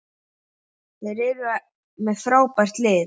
Þeir eru með frábært lið.